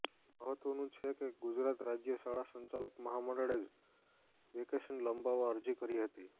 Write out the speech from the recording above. મહત્વનું છે કે ગુજરાત રાજ્ય શાળા સંચાલક મહામંડળે જ વેકેશન લંબાવવા અરજી કરી હતી